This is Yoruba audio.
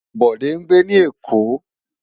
Bode ngbé ni Ekó